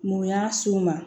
Mun y'a s'u ma